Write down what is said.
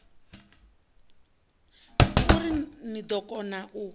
uri ni ḓo kona u